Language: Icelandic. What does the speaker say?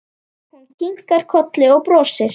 Hún kinkar kolli og brosir.